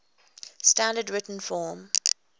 standard written form